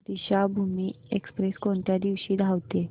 Deekshabhoomi express कोणत्या दिवशी धावते